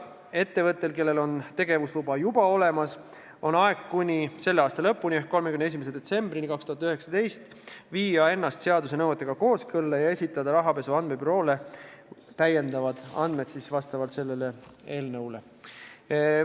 Ettevõttel, kellel on tegevusluba juba olemas, on aega kuni selle aasta lõpuni ehk 31. detsembrini 2019 viia ennast seaduse nõuetega kooskõlla ja esitada rahapesu andmebüroole täiendavad andmed vastavalt sellele eelnõule.